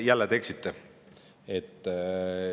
Jälle te eksite.